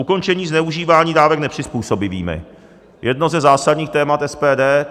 Ukončení zneužívání dávek nepřizpůsobivými - jedno ze zásadních témat SPD.